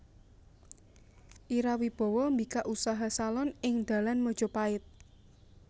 Ira Wibowo mbikak usaha salon ing dalan Majapahit